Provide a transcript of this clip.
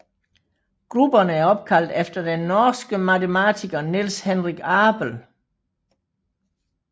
Grupperne er opkaldt efter den norske matematiker Niels Henrik Abel